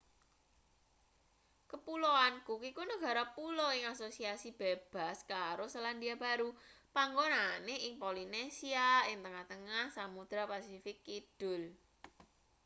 kapuloan cook iku negara pulo ing asosiasi bebas karo selandia baru panggonane ing polinesia ing tengah-tengah samudra pasifik kidul